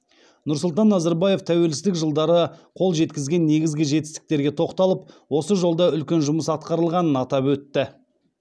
нұрсұлтан назарбаев тәуелсіздік жылдары қол жеткізген негізгі жетістіктерге тоқталып осы жолда үлкен жұмыс атқарылғанын атап өтті